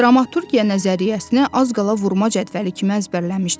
Dramaturgiya nəzəriyyəsini az qala vurma cədvəli kimi əzbərləmişdi.